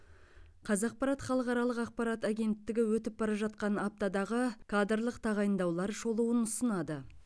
қазақпарат халықаралық ақпарат агенттігі өтіп бара жатқан аптадағы кадрлық тағайындаулар шолуын ұсынады